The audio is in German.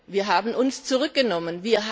Wir haben uns zurückgenommen.